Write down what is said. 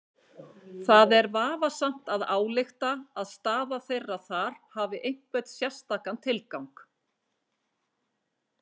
Það er vafasamt að álykta að staða þeirra þar hafi einhvern sérstakan tilgang.